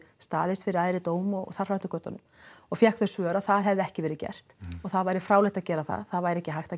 staðist fyrir æðri dóm og þar fram eftir götunum og fékk þau svör að það hefði ekki verið gert og það væri fráleitt að gera það það væri ekki hægt